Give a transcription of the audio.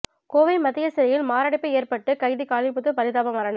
கோவை மத்திய சிறையில் மாரடைப்பு ஏற்பட்டு கைதி காளிமுத்து பரிதாப மரணம்